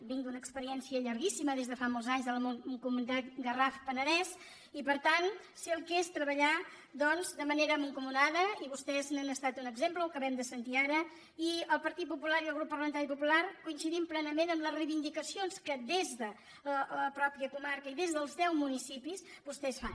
vinc d’una experiència llarguíssima des de fa molts anys de la mancomunitat garrafpenedès i per tant sé el que és treballar doncs de manera mancomunada i vostès n’han estat un exemple ho acabem de sentir ara i el partit popular i el grup parlamentari popular coincidim plenament amb les reivindicacions que des de la mateixa comarca i des dels deu municipis vostès fan